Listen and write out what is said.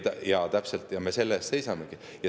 Jaa, täpselt, ja selle eest me seisamegi.